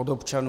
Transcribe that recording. Od občanů?